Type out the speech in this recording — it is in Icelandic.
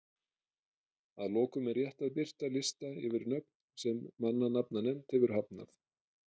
Að lokum er rétt að birta lista yfir nöfn sem mannanafnanefnd hefur hafnað.